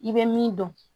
I bɛ min dɔn